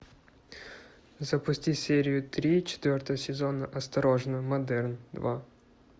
запусти серию три четвертого сезона осторожно модерн два